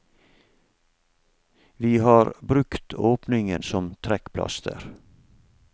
Vi har brukt åpningen som trekkplaster.